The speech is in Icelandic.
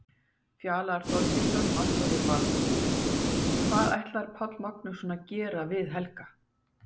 Fjalar Þorgeirsson, markvörður Vals: Hvað ætlar Páll Magnússon að gera við Helga?